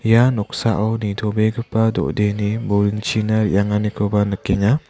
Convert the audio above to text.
ia noksao nitobegipa do·deni buringchina re·anganikoba nikenga.